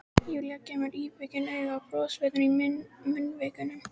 Júlía gefur mér íbyggin auga, brosvottur í munnvikunum.